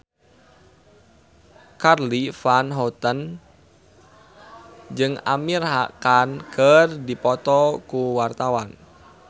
Charly Van Houten jeung Amir Khan keur dipoto ku wartawan